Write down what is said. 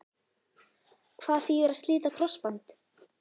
Hvað þýðir að slíta krossband?